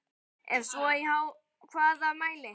Ef svo í hvaða mæli?